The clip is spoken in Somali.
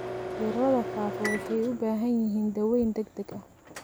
Cudurada faafa waxay u baahan yihiin daaweyn degdeg ah.